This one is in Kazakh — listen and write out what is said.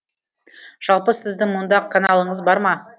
жалпы сіздің мұнда каналыңыз бар ма